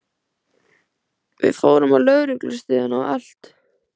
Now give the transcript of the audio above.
Við fórum á lögreglustöðina og allt.